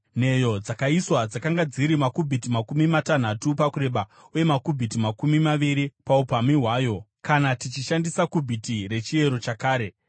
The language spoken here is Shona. Nheyo dzakaiswa dzakanga dziri makubhiti makumi matanhatu pakureba uye makubhiti makumi maviri paupamhi hwayo (kana tichishandisa kubhiti rechiero chakare).